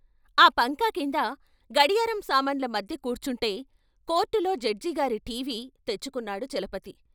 ఆ పంకాకింద, గడియారం సామాన్ల మధ్య కూర్చుంటే కోర్టులో జడ్జి గారి ఠీవి తెచ్చుకున్నాడు చలపతి.